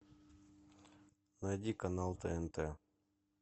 найди канал тнт